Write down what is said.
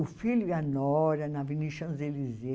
O filho e a Nora, na Avenida Champs-Élysées.